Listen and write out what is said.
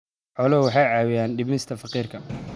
Xooluhu waxay caawiyaan dhimista faqriga.